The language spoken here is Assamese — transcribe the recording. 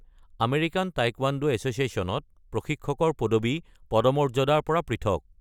আমেৰিকান টাইকোৱাণ্ডো এছ’চিয়েশ্যনত প্ৰশিক্ষকৰ পদবী পদমৰ্যাদাৰ পৰা পৃথক।